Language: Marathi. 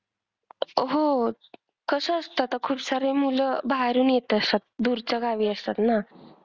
अह होच. कसं असतं आता खूपसारे मुलं बाहेरून येत असतात. दूरच्या गावी असतात ना.